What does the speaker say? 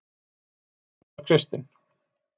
og valentínus var kristinn